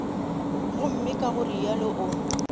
gomme ka go realo o